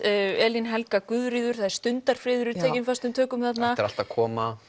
Elín Helga Guðríður Stundarfriður er tekinn föstum tökum þarna þetta er allt að koma